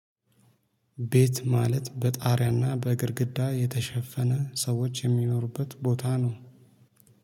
ቤት ማለት በጣሪያና በግድግዳ የተሸፈነ ሰዎች የሚኖሩበት ቦታ ነው